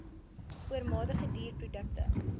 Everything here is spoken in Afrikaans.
oormatige duur produkte